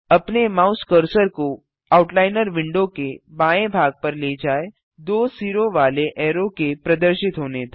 अपने mouse cursor को outliner window के बाएँ भाग पर ले जाएँ दो सिरों वाले ऐरो के प्रदर्शित होने तक